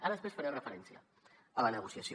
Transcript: ara després faré referència a la negociació